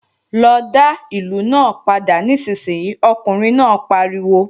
Lọ dá ìlù náà padà nísinsìnyí, ọkùnrin náà pariwo!